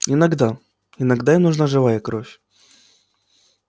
иногда иногда им нужна живая кровь